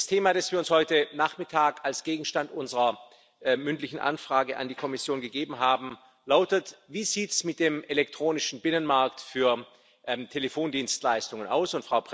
Das Thema, das wir uns heute Nachmittag als Gegenstand unserer mündlichen Anfrage an die Kommission gewählt haben, lautet Wie sieht es mit dem elektronischen Binnenmarkt für Telefondienstleistungen aus?